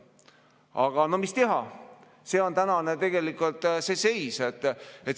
Aga no mis teha, see on tänane tegelik seis.